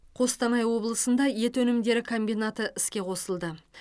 қостанай облысында ет өнімдері комбинаты іске қосылды